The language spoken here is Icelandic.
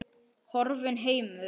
Horfinn heimur.